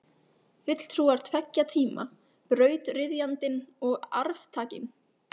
Fulltrúar tveggja tíma, brautryðjandinn og arftakinn.